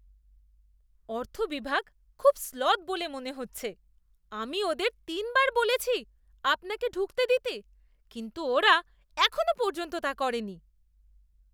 অর্থ বিভাগ খুব স্লথ বলে মনে হচ্ছে। আমি ওদের তিনবার বলেছি আপনাকে ঢুকতে দিতে, কিন্তু ওরা এখনও পর্যন্ত তা করেনি।